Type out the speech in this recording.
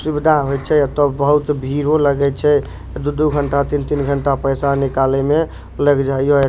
सुविधा होय छै एतो बहुत भीड़ो लगे छै दू-दू घंटा तीन-तीन घंटा पैसा निकाले में लग जाय या।